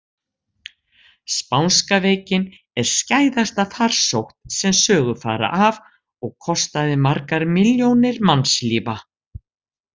Spánska veikin er skæðasta farsótt sem sögur fara af og kostaði margar milljónir mannslífa.